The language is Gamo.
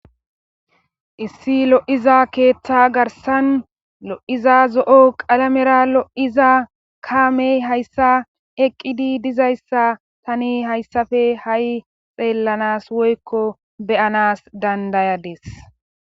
issi lo'iza keeththa garsan lo'iza zo'o qalamera lo'iza kaamey hayssa eqqidi dizayssa tani hayssafe hai xeellanas woykko beyanas dandayadis